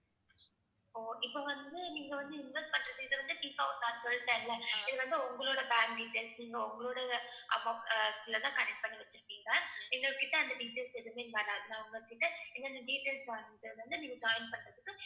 ஓ இப்ப வந்து நீங்க வந்து invest பண்றது இது வந்து சொல்லிட்டேன்ல. இது வந்து உங்களோட bank details. நீங்க உங்களோட accounts ல தான் connect பண்ணி வச்சுருப்பீங்க. எங்ககிட்ட அந்த details எதுவுமே காட்டாது. நான் உங்ககிட்ட என்னென்ன details வந்து நீங்க join பண்றதுக்கு